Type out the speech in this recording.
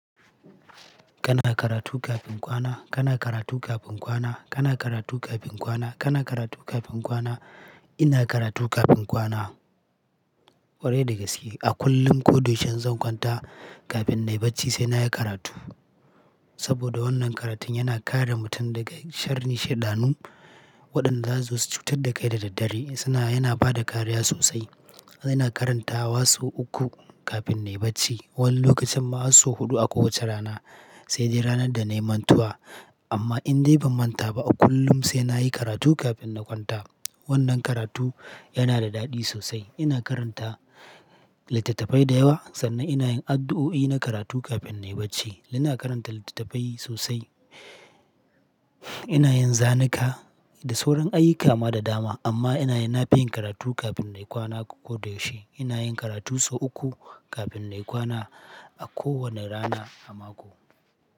Kana karatu kafin kwana, kana karatu kafin kwana, kana karatu kafin kwana, kana karatu kafin kwana. Ina karatu kafin kwana. Kwarai da gaske a kullum ko da yaushe in zan kwanta kafin nai barci sai na yi karatu. Saboda wannan karatun yana kare mutum daga sharri shaidanu waɗanda zasu zo su cutar da kai da daddare. Sana yana ba da kariya sosai. Ina karantawa sau uku kafin nai barci. Wani lokacin ma hasso huɗu a kowace rana sai dai ranar da nai mantuwa. Amma in dai ban manta ba a kullum sai na yi karatu kafin na kwanta. Wannan karatu yana da daɗi sosai. Ina karanta littattafai da yawa sannan ina yin addu'o'i na karatu kafin na yi barci. Ina karanta littattafai sosai. Ina yin zanuka da sauran ayyuka ma da dama amma inayin nafiyin karatu kafin na yi kwana ko da yaushe. Ina yin karatu sau uku kafin na yi kwana a kowane rana a mako.